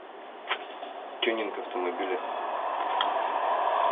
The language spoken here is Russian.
тюнинг автомобиля